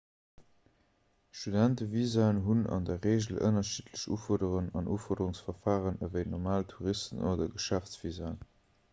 studentevisaen hunn an der regel ënnerschiddlech ufuerderungen an ufuerderungsverfaren ewéi normal touristen oder geschäftsvisaen